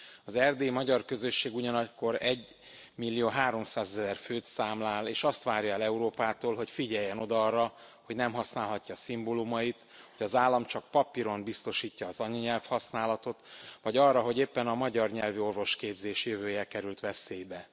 Az erdélyi magyar közösség ugyanakkor egymillióháromszázezer főt számlál, és azt várja el Európától, hogy figyeljen oda arra, hogy nem használhatja szimbólumait, hogy az állam csak papíron biztosítja az anyanyelvhasználatot, vagy arra hogy éppen a magyar nyelvű orvosképzés jövője került veszélybe.